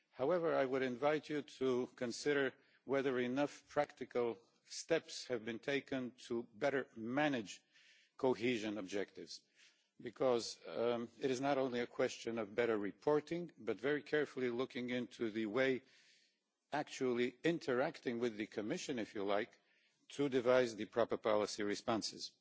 However, I would invite you to consider whether enough practical steps have been taken to better manage cohesion objectives because it is not only a question of better reporting, but of very carefully looking into the way of actually interacting with the Commission, if you like, to devise the proper policy responses.